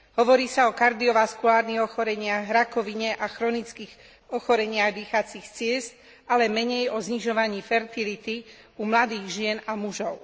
Hovorí sa o kardiovaskulárnych ochoreniach, rakovine a chronických ochoreniach dýchacích ciest, ale menej o znižovaní fertility u mladých žien a mužov.